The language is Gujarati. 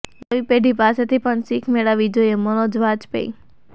નવી પેઢી પાસેથી પણ શીખ મેળવવી જોઈએઃ મનોજ વાજપેયી